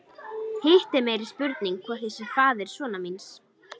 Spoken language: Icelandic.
Hitt er meiri spurning hvort ég sé faðir sonar míns.